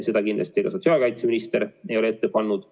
Seda kindlasti ka sotsiaalkaitseminister ei ole ette pannud.